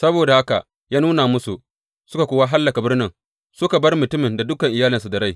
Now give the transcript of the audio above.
Saboda haka ya nuna musu, suka kuwa hallaka birnin, suka bar mutumin da dukan iyalinsa da rai.